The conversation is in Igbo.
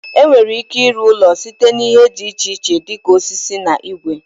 E nwere ike ịrụ ụlọ site n'ihe dị iche iche dịka osisi na igwe.